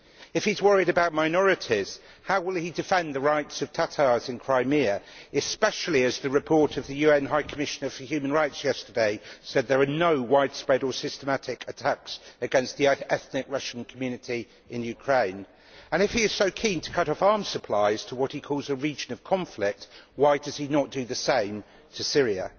If he is worried about minorities, how will he defend the rights of Tatars in Crimea, especially as the report of the UN High Commissioner for Human Rights yesterday said that there are no widespread or systematic attacks against the ethnic Russian community in Ukraine? If he is so keen to cut off arms supplies to what he calls a region of conflict, why does he not do the same to Syria?